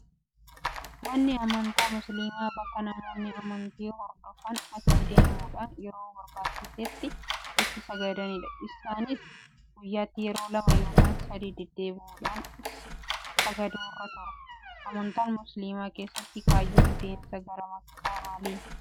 Manni amantaa musliimaa bakka namoonni amatichi hordofan achi deemuudhaan yeroo barbaachisetti itti sagadanidha. Isaanis guyyaatti yeroo lama yookaan sadii deddeebi'uudhaan sagadarra turu. Amantaa musliimaa keessatti kaayyoon deemsa gara makkaa maali?